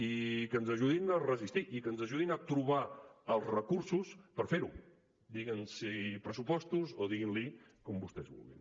i que ens ajudin a resistir i que ens ajudin a trobar els recursos per fer ho diguin ne pressupostos o diguin ne com vostès vulguin